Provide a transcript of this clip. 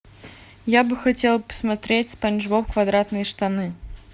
я бы хотела посмотреть спанч боб квадратные штаны